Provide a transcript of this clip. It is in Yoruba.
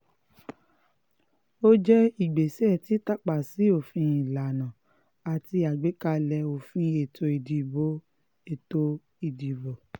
ó jẹ́ ìgbésẹ̀ títàpá sí òfin ìlànà àti àgbékalẹ̀ òfin ètò ìdìbò ètò ìdìbò